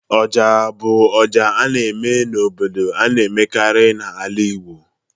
Oja bụ ọjà a na-eme n'obodo a na-emekarị n'ala Igbo